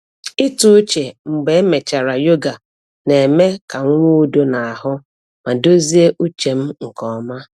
Ịtụ uche mgbe emechara yoga na-eme ka m nwee udo n’ahụ ma dozie uche m nke ọma.